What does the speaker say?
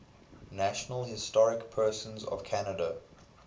national historic persons of canada